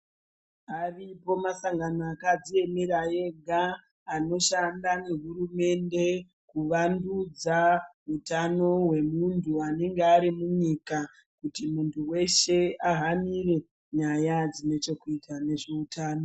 Aripo masangano akadziemera ega anoshanda nehurumende kuwandudza hutano wemuntu anenge ari munyika kuti muntu wehse ahanire nyaya dzine chekuita nezvehutano.